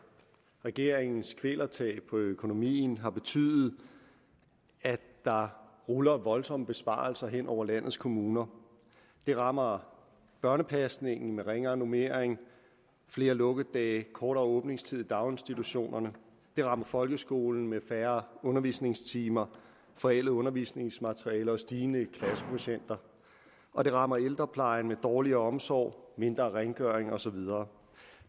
regeringens kvælertag på økonomien har betydet at der ruller voldsomme besparelser hen over landets kommuner det rammer børnepasningen med ringere normering flere lukkedage og kortere åbningstid i daginstitutionerne det rammer folkeskolen med færre undervisningstimer forældet undervisningsmateriale og stigende klassekvotienter og det rammer ældreplejen med dårligere omsorg mindre rengøring og så videre